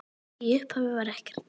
Í upphafi var ekkert.